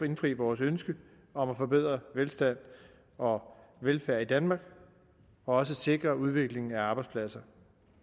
indfri vores ønske om at forbedre velstand og velfærd i danmark og også sikre udviklingen af arbejdspladser